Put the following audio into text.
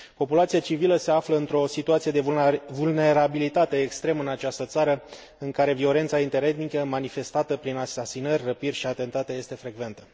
Populația civilă se află într o situație de vulnerabilitate extremă în această țară, în care violența interetnică, manifestată prin asasinări, răpiri și atentate, este frecventă.